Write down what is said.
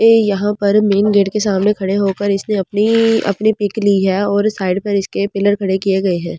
यहां पर main gate के सामने खड़े होकर इसने अपनी अपनी पिक ली है और साइड पर इसके पिलर खड़े किए गए हैं।